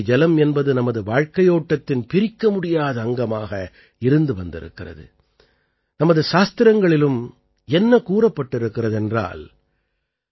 கங்கை ஜலம் என்பது நமது வாழ்க்கையோட்டத்தின் பிரிக்கமுடியாத அங்கமாக இருந்து வந்திருக்கிறது நமது சாஸ்திரங்களிலும் என்ன கூறப்பட்டிருக்கிறது என்றால்